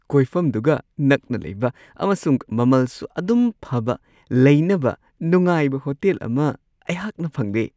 ꯀꯣꯏꯐꯝꯗꯨꯒ ꯅꯛꯅ ꯂꯩꯕ ꯑꯃꯁꯨꯡ ꯃꯃꯜꯁꯨ ꯑꯗꯨꯝ ꯐꯕ ꯂꯩꯅꯕ ꯅꯨꯡꯉꯥꯏꯕ ꯍꯣꯇꯦꯜ ꯑꯃ ꯑꯩꯍꯥꯛꯅ ꯐꯪꯂꯦ ꯫